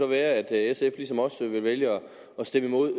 være at sf ligesom os vil vælge at stemme imod